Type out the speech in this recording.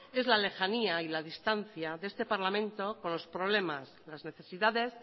es la lejanía y la distancia de este parlamento con los problemas las necesidades